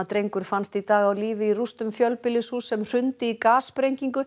drengur fannst í dag á lífi í rústum fjölbýlishúss sem hrundi í